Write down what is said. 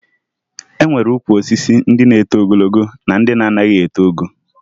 E nwere ukwu osisi ndị na-eto ogologo na ndị na-anaghị eto ogo